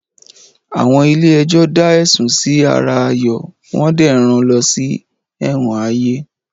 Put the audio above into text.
Àwọn ilé ẹjọ́ da ẹ̀sùn Si ara Ayo wo dé ràn lo ṣì Ewon Aye